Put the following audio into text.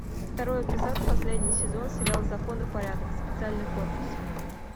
второй эпизод последний сезон сериал закон и порядок специальный корпус